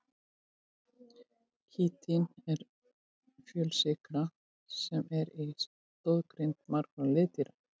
Kítín er fjölsykra sem er í stoðgrind margra liðdýra.